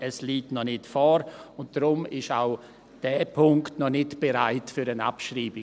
Es liegt aber noch nicht vor, und deshalb ist auch dieser Punkt noch nicht bereit für eine Abschreibung.